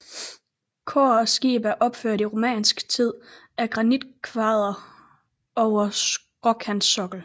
Kor og skib er opført i romansk tid af granitkvadre over skråkantsokkel